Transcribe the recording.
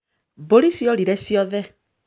Mbũri ciorire ciothe